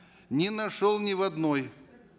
не нашел ни в одной